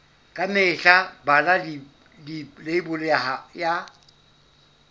ka mehla bala leibole ya